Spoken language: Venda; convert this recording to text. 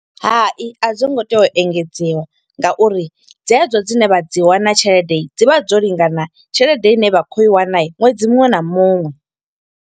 Hai, a dzo ngo tea u engedziwa nga uri dze dzo dzine vha dzi wana tshelede, dzi vha dzo lingana tshelede ine vha kho i wana ṅwedzi muṅwe na muṅwe.